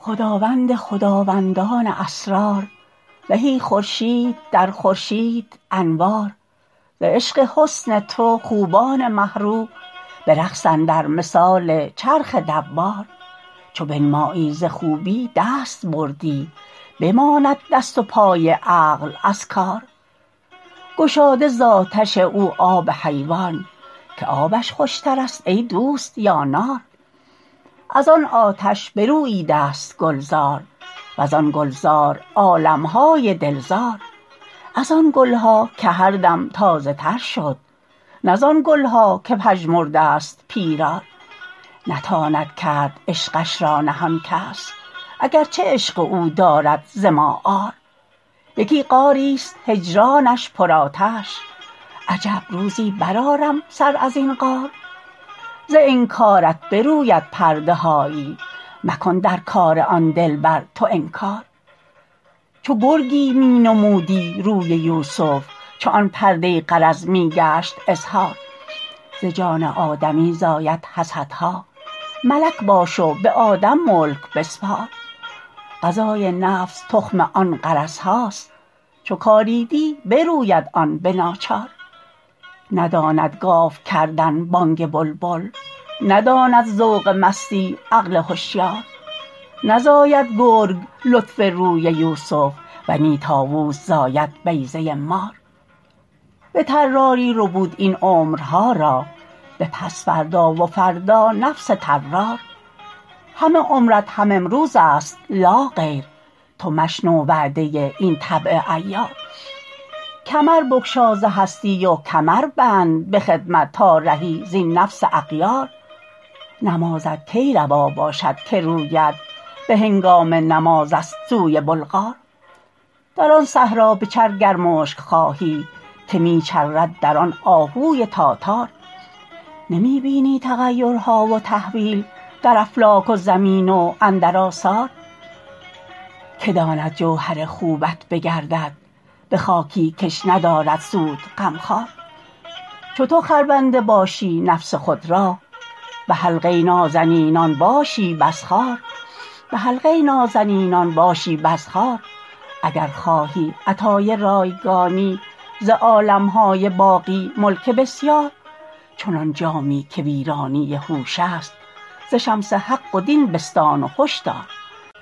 خداوند خداوندان اسرار زهی خورشید در خورشید انوار ز عشق حسن تو خوبان مه رو به رقص اندر مثال چرخ دوار چو بنمایی ز خوبی دست بردی بماند دست و پای عقل از کار گشاده ز آتش او آب حیوان که آبش خوشترست ای دوست یا نار از آن آتش بروییدست گلزار و زان گلزار عالم های دل زار از آن گل ها که هر دم تازه تر شد نه زان گل ها که پژمردست پیرار نتاند کرد عشقش را نهان کس اگر چه عشق او دارد ز ما عار یکی غاریست هجرانش پرآتش عجب روزی برآرم سر از این غار ز انکارت بروید پرده هایی مکن در کار آن دلبر تو انکار چو گرگی می نمودی روی یوسف چون آن پرده غرض می گشت اظهار ز جان آدمی زاید حسدها ملک باش و به آدم ملک بسپار غذای نفس تخم آن غرض هاست چو کاریدی بروید آن به ناچار نداند گاو کردن بانگ بلبل نداند ذوق مستی عقل هشیار نزاید گرگ لطف روی یوسف و نی طاووس زاید بیضه مار به طراری ربود این عمرها را به پس فردا و فردا نفس طرار همه عمرت هم امروزست لاغیر تو مشنو وعده این طبع عیار کمر بگشا ز هستی و کمر بند به خدمت تا رهی زین نفس اغیار نمازت کی روا باشد که رویت به هنگام نمازست سوی بلغار در آن صحرا بچر گر مشک خواهی که می چرد در آن آهوی تاتار نمی بینی تغیرها و تحویل در افلاک و زمین و اندر آثار کی داند جوهر خوبت بگردد به خاکی کش ندارد سود غمخوار چو تو خربنده باشی نفس خود را به حلقه نازنینان باشی بس خوار اگر خواهی عطای رایگانی ز عالم های باقی ملک بسیار چنان جامی که ویرانی هوش است ز شمس حق و دین بستان و هش دار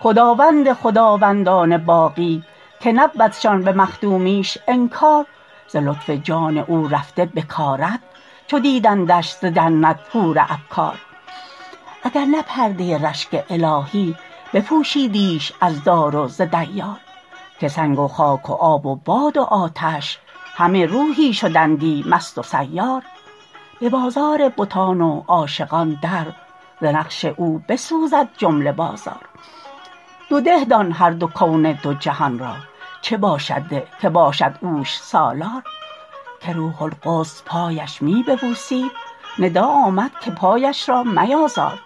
خداوند خداوندان باقی که نبودشان به مخدومیش انکار ز لطف جان او رفته بکارت چو دیدندنش ز جنت حور ابکار اگر نه پرده رشک الهی بپوشیدیش از دار و ز دیار که سنگ و خاک و آب و باد و آتش همه روحی شدندی مست و سیار به بازار بتان و عاشقان در ز نقش او بسوزد جمله بازار دو ده دان هر دو کون دو جهان را چه باشد ده که باشد اوش سالار که روح القدس پایش می ببوسید ندا آمد که پایش را میازار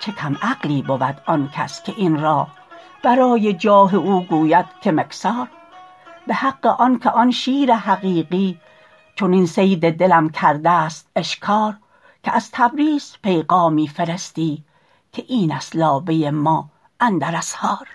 چه کم عقلی بود آن کس که این را برای جاه او گوید که مکثار به حق آنک آن شیر حقیقی چنین صید دلم کردست اشکار که از تبریز پیغامی فرستی که اینست لابه ما اندر اسحار